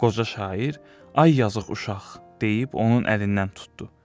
Qoca şair, ay yazıq uşaq, deyib onun əlindən tutdu.